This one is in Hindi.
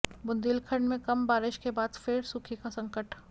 बुंदेलखंड में कम बारिश के बाद फिर सूखे का संकट